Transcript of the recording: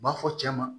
U b'a fɔ cɛ ma